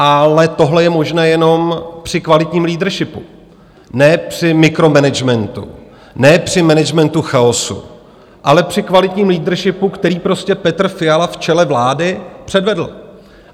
Ale tohle je možné jenom při kvalitním leadershipu, ne při mikromanagementu, ne při managementu chaosu, ale při kvalitním leadershipu, který prostě Petr Fiala v čele vlády předvedl.